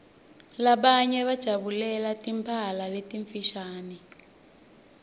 labanye bajabulela timphala letimfushane